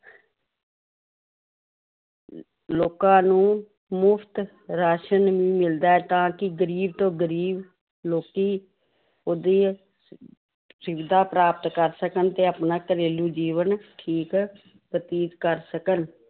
ਲੋਕਾਂ ਨੂੰ ਮੁਫ਼ਤ ਰਾਸ਼ਣ ਵੀ ਮਿਲਦਾ ਹੈ ਤਾਂ ਕਿ ਗ਼ਰੀਬ ਤੋਂ ਗ਼ਰੀਬ ਲੋਕੀ ਉਹਦੀ ਸੁਵਿਧਾ ਪ੍ਰਾਪਤ ਕਰ ਸਕਣ ਤੇ ਆਪਣਾ ਘਰੇਲੂ ਜੀਵਨ ਠੀਕ ਬਤੀਤ ਕਰ ਸਕਣ l